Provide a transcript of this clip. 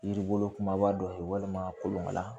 Yiri bolo kumaba dɔ ye walima kolon la